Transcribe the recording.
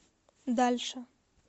дальше